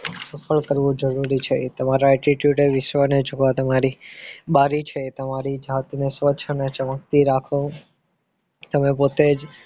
સફળ કરવો જરૂરી છે તમારા attitude ને વિશ્વને જોવા તમારી બારી છે તમારી જાતને સ્વચ્છ અને ચમકતી રાખો અને તમે પોતે જ